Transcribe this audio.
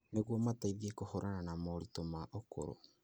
nĩguo mateithie kũhũrana na moritũ ma ũkũrũ.